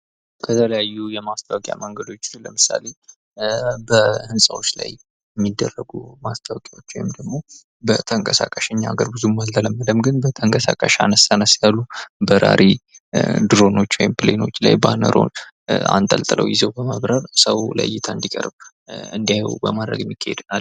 የተለያዩ የማስታወቂያ መንገዶች ስንል ለምሳሌ በህንፃዎች ላይ የሚደረጉ ማስታወቂያዎች ወይም ደግሞ በተንቀሳቃሽ እኛ ሀገር እንኳን ብዙም አልተለመደም ተንቀሳቃሽ አንስ አነስ ያሉ በራሪ ድሮኖች ወይም ፕሌኖች ባነሩን አንጠልጥለው ይዘው በመብረር ሰው ለይታ እንዲቀርብ በማድረግ የሚካሄድ ነው ።